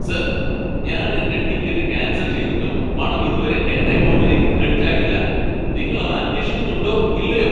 Sir! ഞാൻ എന്റെ ticket cancel ചെയ്തിട്ടും പണം ഇതുവരെ എന്റെ അക്കൗണ്ടിലേക്ക് ക്രെഡിറ്റ് ആയിട്ടില്ല. നിങ്ങൾ അത് അന്വേഷിക്കുന്നുണ്ടോ ഇല്ലയോ?